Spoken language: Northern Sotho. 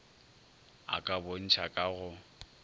a ka bontšha ka go